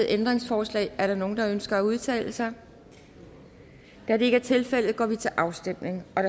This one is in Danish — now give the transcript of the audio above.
ændringsforslag er der nogen der ønsker at udtale sig da det ikke er tilfældet går vi til afstemning